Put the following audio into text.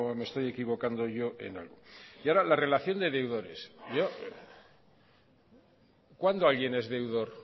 me estoy equivocando yo en algo y ahora la relación de deudores cuándo alguien es deudor